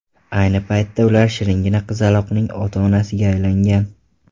Ayni paytda ular shiringina qizaloqning ota-onasiga aylangan.